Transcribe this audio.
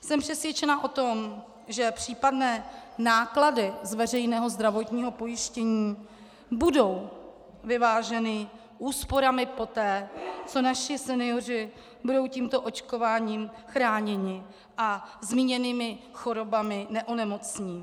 Jsem přesvědčena o tom, že případné náklady z veřejného zdravotního pojištění budou vyváženy úsporami poté, co naši senioři budou tímto očkováním chráněni a zmíněnými chorobami neonemocní.